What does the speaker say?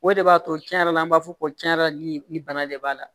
O de b'a to tiɲɛ yɛrɛ la an b'a fɔ ko tiɲɛ yɛrɛ la nin bana de b'a la